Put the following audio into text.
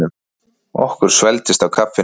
Okkur svelgdist á kaffinu.